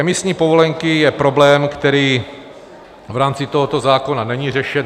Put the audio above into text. Emisní povolenky je problém, který v rámci tohoto zákona není řešen.